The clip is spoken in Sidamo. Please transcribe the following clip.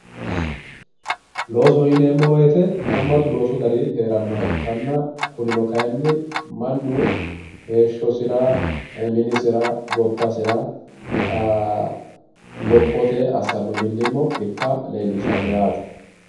Loosoho yineemmowoyite haammatu loosu gari heerannoha ikkanna kunino kayinni mannu heeshshosira minisira gobbasira lophote millimmo assa ikkasi leellishshanno yaate.